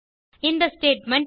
இந்த ஸ்டேட்மெண்ட்